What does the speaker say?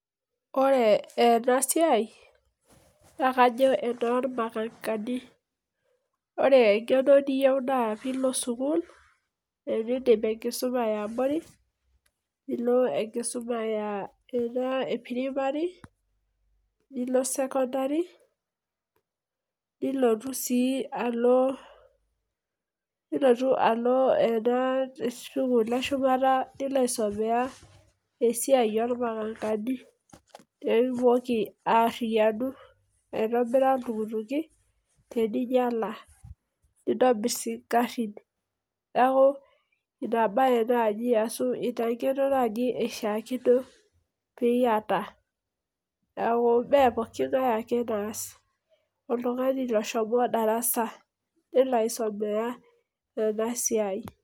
Ore ena siai naa kajo enoormakakani. Ore engeno niyieu naa piilo sukuul, enedip enkisuma eabori nilo enkisuma enaa, eh pirimari, nilo sekondari, nilotu sii Alo nilotu alo ena sukuul eshumata nilo aisomea esiai oormakakani. Pee itumoki ariyianu piitumoki aitobira iltukituki teninyiala, nitobir sii igarin. Neaku ina bae naaji ashu, ina ngeno naaji ishaakino pee iyata. Neaku mee pooki ngae ake naas oltungani oshomo darasa nelo aisomea ena siai.